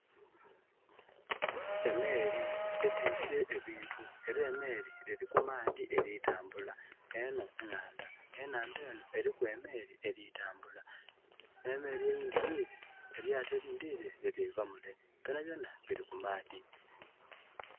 Emeeri etwise ebintu era emeeri eli ku maadhi eritambula eno nhandha. E nhandha eno eriku emeeri elitambula n'emeeri eyindhi yire...elyaato erindhi lilire liri va mule. Byonabyona bili ku maadhi.